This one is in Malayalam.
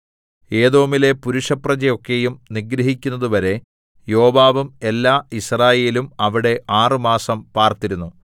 ഏദോമിലെ പുരുഷപ്രജയെ ഒക്കെയും നിഗ്രഹിക്കുന്നതുവരെ യോവാബും എല്ലാ യിസ്രായേലും അവിടെ ആറുമാസം പാർത്തിരുന്നു